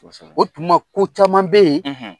Kosɛbɛ o tuma ko caman be ye